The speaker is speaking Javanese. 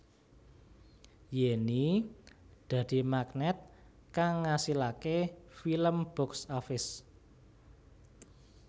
Yenny dadi magnèt kang ngasilaké film box office